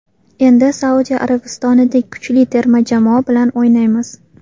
Endi Saudiya Arabistonidek kuchli terma jamoa bilan o‘ynaymiz.